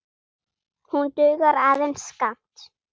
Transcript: Hún dugar aðeins skammt.